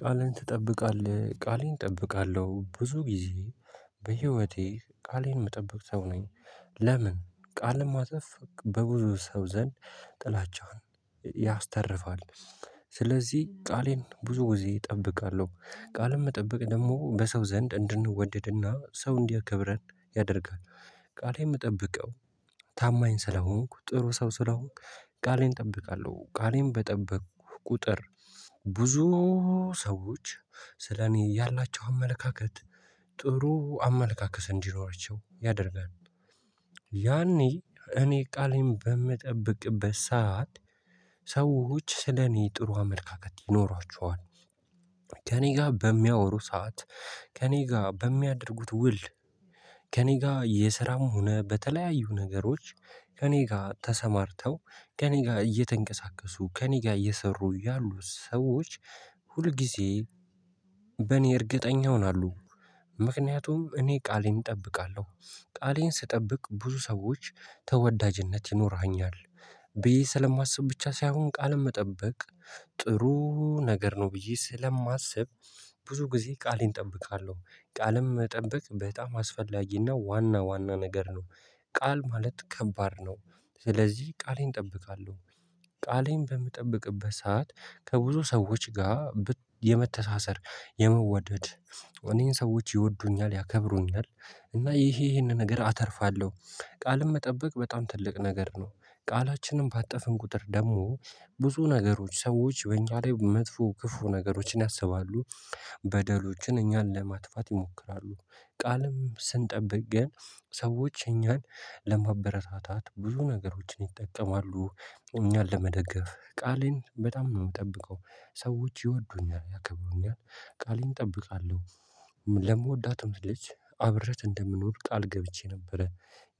ቃልን ትጠብቃለህ ቃሌን እጠብቃለሁ ብዙ ጊዜ በህይወቴ ቃሌን እምጠብቅ ሰው ነኝ። ለምን ቃልን ማጠፍ በብዙ ሰው ዘንድ ጥላቻህን ያስተርፋል። ስለዚህ ቃሌን ብዙ ጊዜ እጠብቃለሁ ቃልም መጠበቅ ደግሞ በሰው ዘንድ እንድንወደድና ሰው እንዲያከብረን ያደርጋል። ቃሌን እምጠብቀው ታማኝ ስለሆንኩ ጥሩ ሰው ስለሆንኩ ቃሌን እጠብቃለሁ ቃሌን በጠበኩ ቁጥር ሰዎች ስለኔ ያላቸው አመለካከት ጥሩ አመለካከት እንዲኖረቸው ያደርጋል። ያኔ እኔ ቃሌን በምጠብቅበት ሰዓት ሰዎች ስለኔ ጥሩ አመለካከት ይኖሯቸዋል። ከእኔ ጋ በሚያወሩ ሰዓት ከእኔ ጋ በሚያደርጉት ውል። ከእኔ ጋ የስራም ሆነ በተለያዩ ነገሮች ከእኔ ጋ ተሰማርተው ከእኔ ጋ እየተንቀሳቀሱ ከእኔ ጋ እየሰሩ ያሉ ሰዎች ሁልጊዜ በእኔ እርግጠኛ ይሆናሉ። ምክንያቱም እኔ ቃሌን እጠብቃለሁ። ቃሌን ስጠብቅ በብዙ ሰዎች ተወዳጅነት ይኖረኛል። ብዬ ስለማስብ ብቻ ሳይሆን ቃልን መጠበቅ ጥሩ ነገር ነው ብዬ ስለማስብ። ብዙ ጊዜ ቃሌን እጠብቃለሁ ቃልን መጠበቅ በጣም አስፈላጊና ዋና ዋና ነገር ነው። ቃል ማለት ከባድ ነው። ስለዚህ ቃሌን እጠብቃለሁ። ቃሌን በምጠብቅበት ሰዓት ከብዙ ሰዎች ጋ የመተሳሰር የመወደድ እኔን ሰዎች ይወዱኛል ያከብሩኛል። እና ይሄ ይሄንን ነገር አተርፋለሁ ቃልም መጠበቅ በጣም ትልቅ ነገር ነው። ቃላችንን ባጠፉን ቁጥር ደግሞ ብዙ ነገሮች ሰዎች በእኛ ላይ መጥፎ ክፉ ነገሮችን ያሰባሉ። በደሎችን እኛን ለማጥፋት ይሞክራሉ። ቃልም ስንጠብቅ ግን ሰዎች እኛን ለማበረታታት ብዙ ነገሮችን ይጠቀማሉ። እኛን ለመደገፍ ቃሌን በጣም ነው እምጠብቀው ሰዎች ይወዱኛል ያከብሩኛል ቃሌን እጠብቃለሁ። ለምወዳት ልጅ አብሬያት እንደምኖር ቃል ገብቼ ነበረ።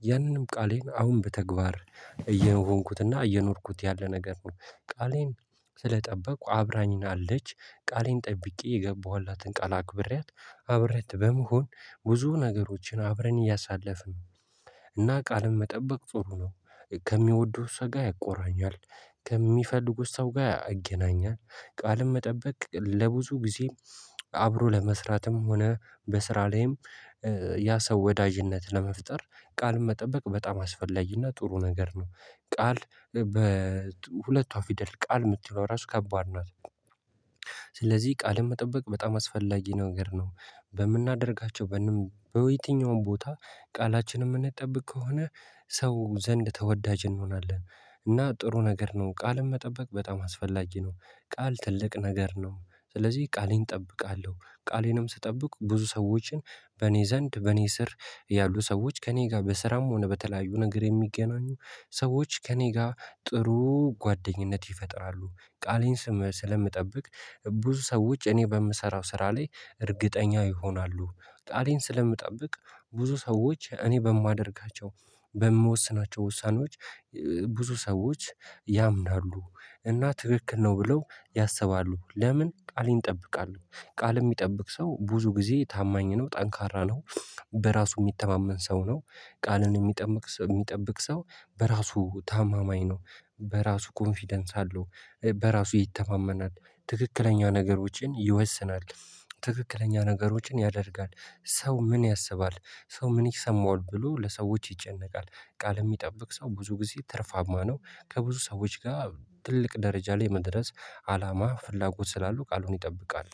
ያንንም ቃሌን አሁን በተግባር እየሆንኩትና እየኖርኩት ያለ ነገር ነው። ቃሌን ስለጠበቁ አብራኝናለች። ቃሌን ጠብቄ የገባኋላትን ቃል አክብሬያት አብረን በመሆን ብዙ ነገሮችን አብረን እያሳለፍን እና ቃልን መጠበቅ ጥሩ ነው። ከሚወዱት ሰው ጋር ያቆራኛል። ከሚፈልጉት ሰው ጋር ያገናኛል። ቃልም መጠበቅ ለብዙ ጊዜ አብሮ ለመስራትም ሆነ በስራ ላይም ያ ሰው ወዳጅነት ለመፍጠር ቃልን መጠበቅ በጣም አስፈላጊና ጥሩ ነገር ነው። ቃል በሁለቱ ፊደል ቃል የምትለው ራሱ ከባድ ናት። ስለዚህ ቃልን መጠበቅ በጣም አስፈላጊ ነገር ነው። በምናደርጋቸው በየትኛውም ቦታ ቃላችንን እምንጠብቅ ከሆነ ሰው ዘንድ ተወዳጅ እንሆናለን። እና ጥሩ ነገር ነው ቃልን መጠበቅ በጣም አስፈላጊ ነው። ቃል ትልቅ ነገር ነው ስለዚህ ቃሌን እጠብቃለሁ። ቃሌንም ስጠብቅ ብዙ ሰዎችን በእኔ ዘንድ በእኔ ስር ያሉ ሰዎች ከእኔ ጋር በስራም ሆነ በተለያዩ ነገር የሚገናኙ ሰዎች ከእኔ ጋር ጥሩ ጓደኝነት ይፈጥራሉ ቃሌን ስለምጠብቅ ብዙ ሰው እኔ በምሰራው ስራ ላይ እርግጠኛ ይሆናሉ። ቃሌን ስለምጠብቅ ብዙ ሰዎች እኔ በማደርጋቸው በምወስናቸው ውሳኔዎች ብዙ ሰዎች ያምናሉ። እና ትክክል ነው ብለው ያሰባሉ ለምን ቃልን ይጠብቃሉ ቃል እሚጠብቅ ሰው ብዙ ጊዜ ታማኝ ነው ጠንካራ ነው። በራሱ እሚተማመን ሰው ነው። ቃልን እሚጠብቅ ሰው እሚጠብቅ ሰው በራሱ ታማኝ ነው። በራሱ ኮንፊደንስ አለው በራሱ ይተማመናል። ትክክለኛ ነገሮችን ይወስናል ትክክለኛ ነገሮችን ያደርጋል። ሰው ምን ያስባል? ሰው ምን ይሰማዋል ብሎ ለሰዎች ይጨነቃል። ቃልን እሚጠብቅ ሰው ብዙ ጊዜ ትርፋማ ነው። ከብዙ ሰዎች ጋር ትልቅ ደረጃ ላይ መድረስ አላማ ፍላጎት ስላሉ ቃሉን ይጠብቃል